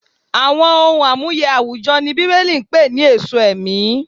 Àwọn ohun amuye àwùjọ ni Bíbélì pè ní "èso ẹ̀mí."